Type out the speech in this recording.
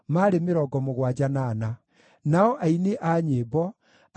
na Shefatia, na Hatili, na Pokerethu-Hazebaimu, na Ami.